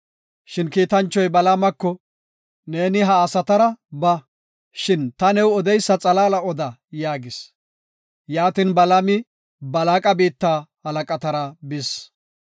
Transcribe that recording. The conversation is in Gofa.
Shin kiitanchoy Balaamako, “Neeni ha asatara ba; shin ta new odeysa xalaala oda” yaagis. Yaatin, Balaami Balaaqa biitta halaqatara bis.